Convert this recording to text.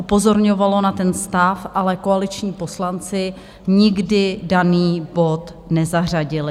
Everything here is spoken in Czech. Upozorňovalo na ten stav, ale koaliční poslanci nikdy daný bod nezařadili.